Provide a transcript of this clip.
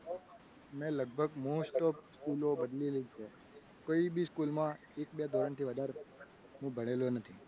ને લગભગ most off બધી સ્કૂલો બદલી જ છે. કોઈપણ school માં એક બે ધોરણથી વધારે હું ભણેલો નથી.